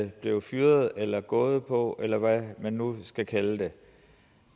blev fyret eller gået på eller hvad man nu skal kalde det